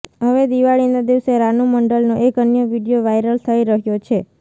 હવે દિવાળીના દિવસે રાનૂ મંડલનો એક અન્ય વિડીયો વાયરલ થઈ રહ્યો છે